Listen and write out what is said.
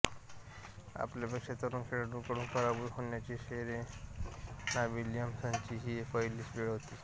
आपल्यापेक्षा तरूण खेळाडूकडून पराभूत होण्याची सेरेना विल्यम्सची ही पहिलीच वेळ होती